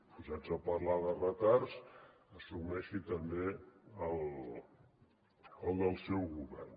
posats a parlar de retards assumeixi també el del seu govern